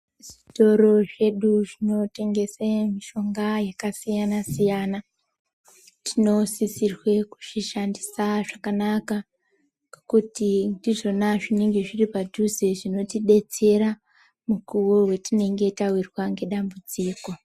Zvitoro zvedu zvino tengese mishonga yaka siyana siyana tino sisirwe kuzvi shandisa zvakanaka ngekuti ndizvona zvinenge zviri padhuze zvinoti detsera mukuwo we tinenge tawirwa nge dambudziko.